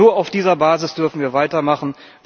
Nur auf dieser Basis dürfen wir weitermachen.